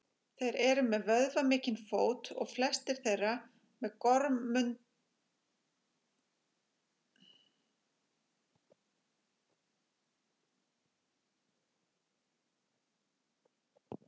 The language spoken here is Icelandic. Þeir eru með vöðvamikinn fót og flestir þeirra með gormundinn kuðung.